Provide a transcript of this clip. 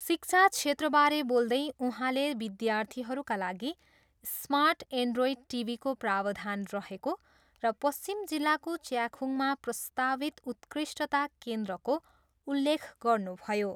शिक्षा क्षेत्रबारे बोल्दै उहाँले विद्यार्थीहरूका लागि स्मार्ट एन्ड्रोइड टिभीको प्रावधान रहेको र पश्चिम जिल्लाको च्याखुङमा प्रस्तावित उत्कृष्टता केन्द्रको उल्लेख गर्नुभयो।